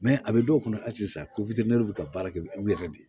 a bɛ dɔw kɔnɔ hali sisan ko bɛ ka baara kɛ u yɛrɛ de ye